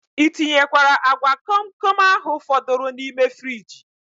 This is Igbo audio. I tinyekwara agwa komkom ahu fọdụrụ n' ime friji?